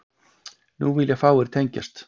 Nú vilja fáir tengjast